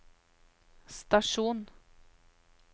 stasjon